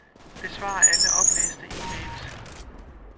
Besvar alle oplæste e-mails.